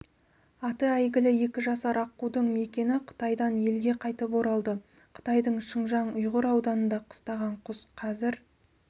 аты әйгілі екі жасар аққудың мекиені қытайдан елге қайтып оралды қытайдың шыңжаң-ұйғыр ауданында қыстаған құс қазір